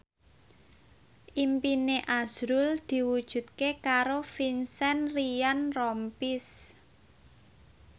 impine azrul diwujudke karo Vincent Ryan Rompies